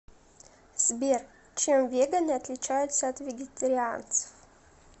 сбер чем веганы отличаются от вегетарианцев